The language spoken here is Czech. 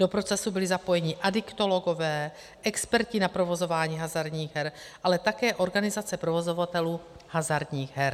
Do procesu byli zapojení adiktologové, experti na provozování hazardních her, ale také organizace provozovatelů hazardních her.